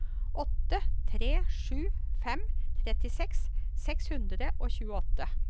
åtte tre sju fem trettiseks seks hundre og tjueåtte